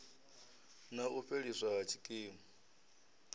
na u fheliswa ha tshikimu